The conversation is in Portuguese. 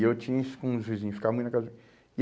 E eu tinha isso com os vizinhos, ficava muito na casa